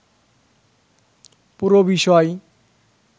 পুরো বিষয়